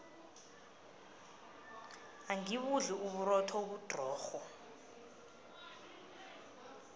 angibudli uburotho obudrorho